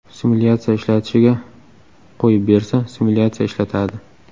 Simulyatsiya ishlatishiga qo‘yib bersa, simulyatsiya ishlatadi.